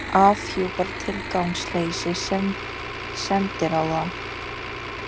Afhjúpar tilgangsleysi sendiráða